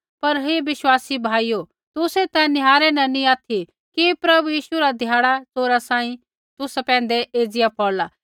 पर हे विश्वासी भाइयो तुसै ता निहारै न नी ऑथि कि प्रभु यीशु रा ध्याड़ा च़ोरा सांही तुसा पैंधै एज़िया पौड़ला